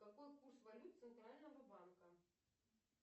какой курс валют центрального банка